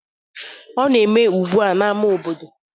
Ọ na-eme ugbu a n'ámá obodo